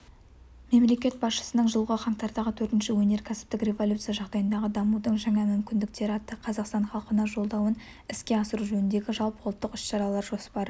мемлекет басшысының жылғы қаңтардағы төртінші өнеркәсіптік революция жағдайындағы дамудың жаңа мүмкіндіктері атты қазақстан халқына жолдауын іске асыру жөніндегі жалпыұлттық іс-шаралар жоспары